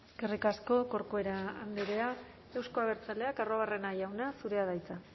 eskerrik asko corcuera andrea euzko abertzaleak arruabarrena jauna zurea da hitza